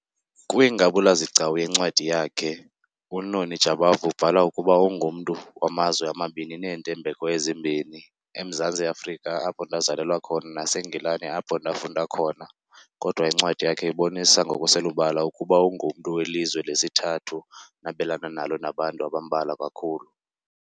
"Kwingabula-zigcawu yencwadi yakhe, uNoni Jabavu ubhala ukuba ungumntu "wamazwe amabini neentembeko ezimbini, eMzantsi Afrika apho ndazalelwa khona naseNgilani apho ndafunda khona", kodwa incwadi yakhe ibonisa ngokuselubala ukuba ungumntu welizwe lesithathu nabelana nalo nabantu abambalwa kakhulu.